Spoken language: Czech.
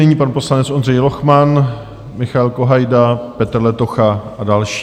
Nyní pan poslanec Ondřej Lochman, Michael Kohajda, Petr Letocha a další.